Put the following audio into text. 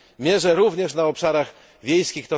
mierze również na obszarach wiejskich.